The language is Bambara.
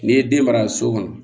N'i ye den mara so kɔnɔ